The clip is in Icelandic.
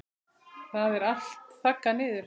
Það er allt þaggað niður.